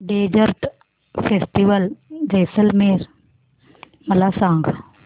desert festival Jaisalmer मला सांग